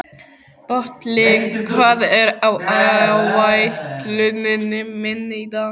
Polly, hvað er á áætluninni minni í dag?